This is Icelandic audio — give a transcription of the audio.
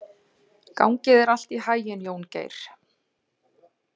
Gangi þér allt í haginn, Jóngeir.